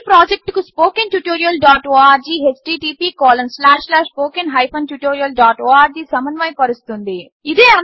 ఈ ప్రాజెక్ట్ను స్పోకెన్ tutorialఆర్గ్ httpspoken tutorialorg సమన్వయపరుస్తోంది